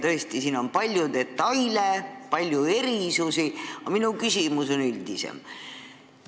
Tõesti, siin on palju detaile, palju erisusi, aga minu küsimus on üldisem.